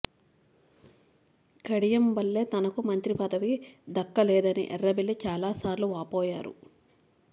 కడియం వల్లే తనకు మంత్రి పదవి దక్కలేదని ఎర్రబెల్లి చాలాసార్లు వాపోయారు